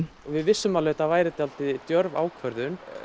við vissum að þetta væri dálítið djörf ákvörðun